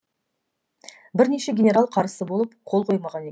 бірнеше генерал қарсы болып қол қоймаған екен